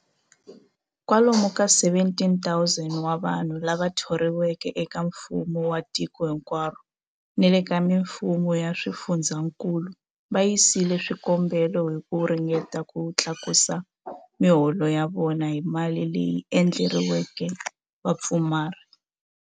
Kwalomu ka 17,000 wa vanhu lava thoriweke eka mfumo wa tiko hinkwaro ni le ka mifumo ya swifundzankulu va yisile swikombelo hi ku ringeta ku tlakusa miholo ya vona hi mali leyi endleriweke vapfumari.